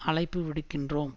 அழைப்புவிடுக்கின்றோம்